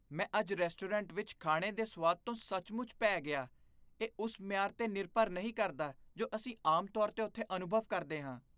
ਮੈਂ ਅੱਜ ਰੈਸਟੋਰੈਂਟ ਵਿੱਚ ਖਾਣੇ ਦੇ ਸਵਾਦ ਤੋਂ ਸੱਚਮੁੱਚ ਭੈ ਗਿਆ ਇਹ ਉਸ ਮਿਆਰ 'ਤੇ ਨਿਰਭਰ ਨਹੀਂ ਕਰਦਾ ਜੋ ਅਸੀਂ ਆਮ ਤੌਰ 'ਤੇ ਉੱਥੇ ਅਨੁਭਵ ਕਰਦੇ ਹਾਂ